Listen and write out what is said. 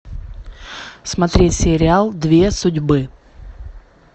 смотреть сериал две судьбы